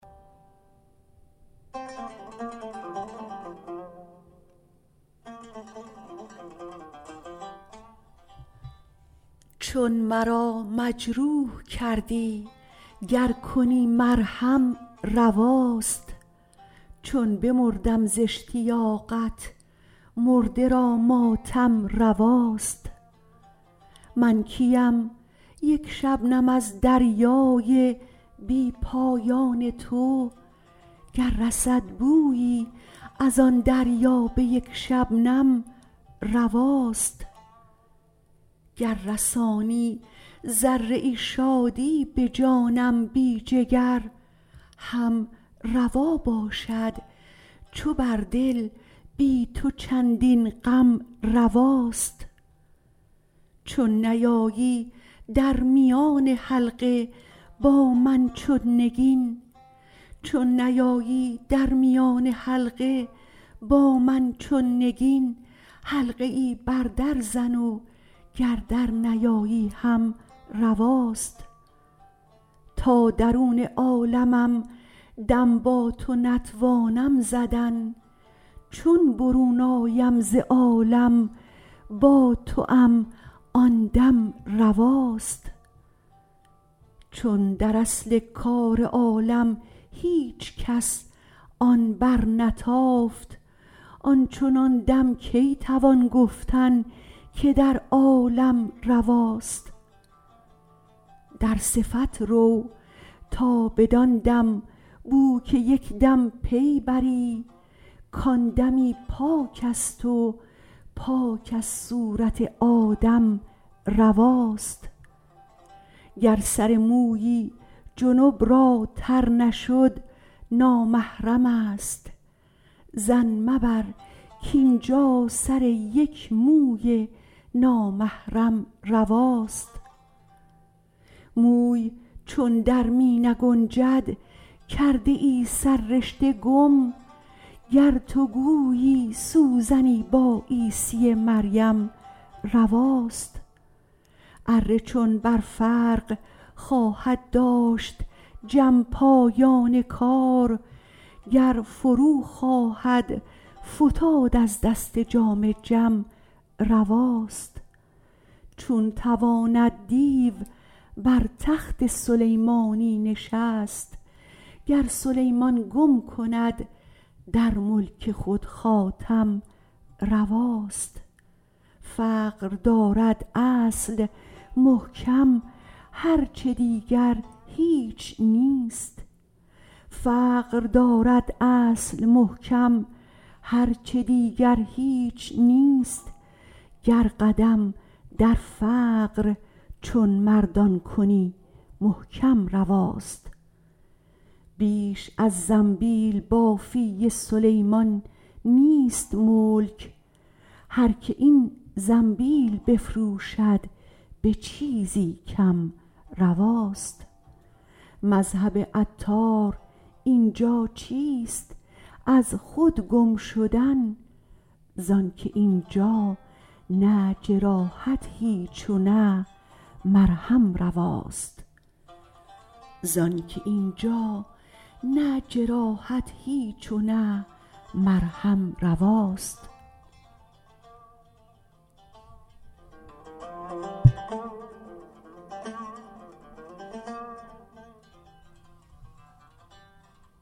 چون مرا مجروح کردی گر کنی مرهم رواست چون بمردم ز اشتیاقت مرده را ماتم رواست من کیم یک شبنم از دریای بی پایان تو گر رسد بویی از آن دریا به یک شبنم رواست گر رسانی ذره ای شادی به جانم بی جگر هم روا باشد چو بر دل بی تو چندین غم رواست چون نیایی در میان حلقه با من چون نگین حلقه ای بر در زن و گر در نیایی هم رواست تا درون عالمم دم با تو نتوانم زدن چون برون آیم ز عالم با توام آن دم رواست چون در اصل کار عالم هیچکس آن برنتافت آنچنان دم کی توان گفتن که در عالم رواست در صفت رو تا بدان دم بوک یکدم پی بری کان دمی پاک است و پاک از صورت آدم رواست گر سر مویی جنب را تر نشد نامحرم است ظن مبر کاینجا سر یک موی نامحرم رواست موی چون در می نگنجد کرده ای سررشته گم گر تو گویی سوزنی با عیسی مریم رواست اره چون بر فرق خواهد داشت جم پایان کار گر فرو خواهد فتاد از دست جام جم رواست چون تواند دیو بر تخت سلیمانی نشست گر سلیمان گم کند در ملک خود خاتم رواست فقر دارد اصل محکم هرچه دیگر هیچ نیست گر قدم در فقر چون مردان کنی محکم رواست بیش از زنبیل بافی سلیمان نیست ملک هر که این زنبیل بفروشد به چیزی کم رواست مذهب عطار اینجا چیست از خود گم شدن زانکه اینجا نه جراحت هیچ و نه مرهم رواست